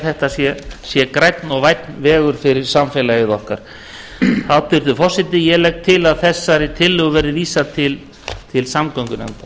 að þetta sé grænn og vænn vegur fyrir samfélagið okkar hæstvirtur forseti ég legg til að þessari tillögu verði vísað til samgöngunefndar